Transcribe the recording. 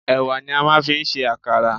Ẹ̀wà ni a máa fi ń ṣe àkàrà.